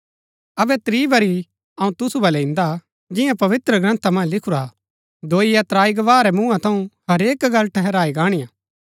अबै त्रीं बरी अऊँ तुसु बलै इन्दा जियां पवित्रग्रन्था मन्ज लिखुरा हा दोई या त्राई गवाह रै मुँहा थऊँ हरेक गल्ल ठहराई गाणिआ